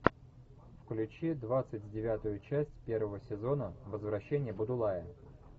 включи двадцать девятую часть первого сезона возвращение будулая